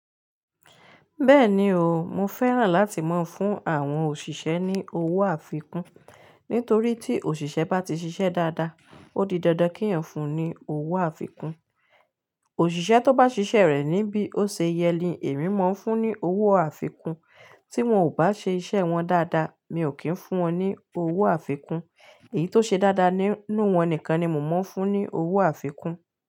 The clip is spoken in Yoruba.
Bẹ́ẹ̀ni o, mo fẹ́ràn láti máa ń fún àwọn òṣìṣẹ́ ní owó àfikún nítorí tí òṣìṣẹ́ bá ti ṣiṣẹ́ dáadáa, ó di dandan kí èèyàn fún un ní owó àfikún. Òṣìṣẹ́ tó bá ṣiṣẹ́ rẹ̀ ní bí ó ṣe yẹ ni èmi máa ń fún ní owó àfikún. Tí wọ́n ò bá ṣe iṣẹ́ wọn dáadáa, mi ò kí ń fún wọn ní owó àfikún. Èyí tó ṣe dáadáa nínú wọn nìkan ni mò ń fún ní owó àfikún.